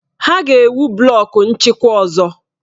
Ha ga-ewu blọku nchịkwa ọzọ.